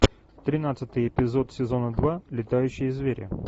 тринадцатый эпизод сезона два летающие звери